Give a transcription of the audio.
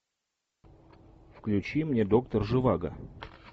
включи мне доктор живаго